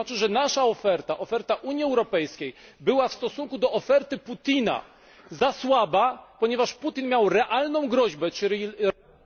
To znaczy, że nasza oferta, oferta Unii Europejskiej była w stosunku do oferty Putina za słaba, ponieważ Putin miał realną groźbę i realne pieniądze.